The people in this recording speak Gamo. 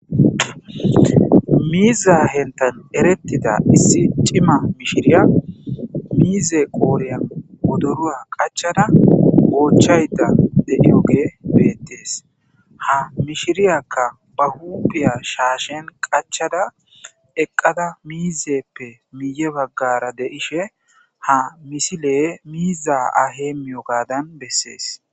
miiza hentan erettida issi cima mishiriya miize qooriya odorua qachada goochayda deiyoge beettees ha mishiriyakka ba huudiya shaashen qachada eqqada miizeppe miiye baggara deishe ha misile miiza ahemiyo gaadan bessees